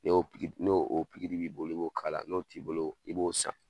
N'o n'o pikiri b'i bolo i b'o kala, n'o t'i bolo, i b'o san